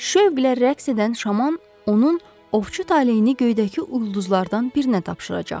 Şövqlə rəqs edən şaman onun ovçu taleyini göydəki ulduzlardan birinə tapşıracaq.